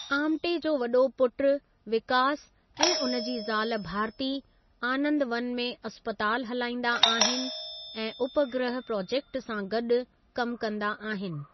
आमटे जो वॾो पुट विकास ऐं उन जी ज़ाल भारती आनंदवन में अस्पतालु हलाईंदा आहिन ऐं उपग्रह प्रोजेक्ट सां गॾि कम कंदा आहिनि।